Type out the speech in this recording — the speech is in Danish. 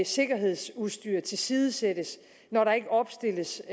sikkerhedsudstyr tilsidesættes når der ikke opstilles